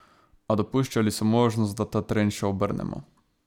A dopuščali so možnost, da ta trend še obrnemo.